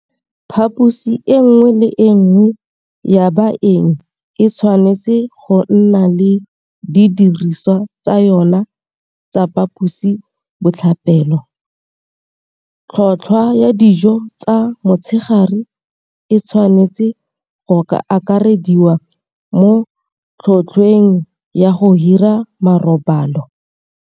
Phaposi e nngwe le e nngwe ya baeng e tshwanetse go nna le didirisiwa tsa yona tsa phaposi botlhapelo, tlhotlhwa ya dijo tsa motshegare e tshwanetswe go akarediwa mo tlhotlhweng ya go hira marobalo.